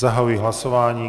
Zahajuji hlasování.